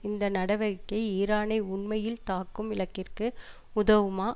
இந்த நடவடிக்கை ஈரானை உண்மையில் தாக்கும் இலக்கிற்கு உதவுமா